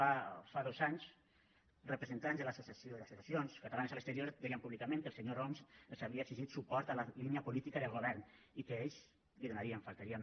fa dos anys representants d’associacions catalanes a l’exterior deien públicament que el senyor homs els havia exigit suport a la línia política del govern i que ells l’hi donarien només faltaria